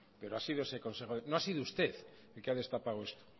pero ha sido ese consejo no ha sido usted el que ha destapado esto